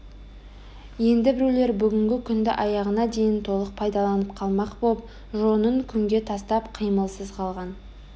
енді біреулер бүгінгі күнді аяғына дейін толық пайдаланып қалмақ боп жонын күнге тастап қимылсыз қалған